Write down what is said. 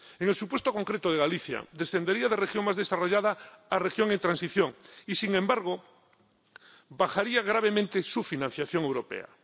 En el supuesto concreto de Galicia, descendería de región más desarrollada a región en transición, y, sin embargo, bajaría gravemente su financiación europea.